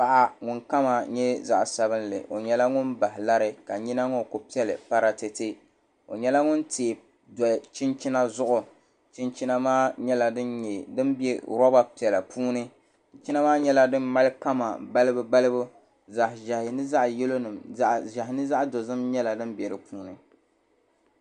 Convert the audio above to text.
Paɣa ŋun kama nyɛ zaɣ sabinli o nyɛla ŋun bahi lari ka nyina ŋo ku piɛli paratɛtɛ o nyɛla ŋun tiɛ do chinchina zuɣu chinchina maa nyɛla din bɛ roba piɛla puuni chinchina maa nyɛla din mali kama balibu balibu zaɣ ʒiɛhi ni zaɣ dozim nyɛla din bɛ di puuni